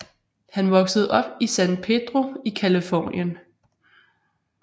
Han voksede op i San Pedro i Californien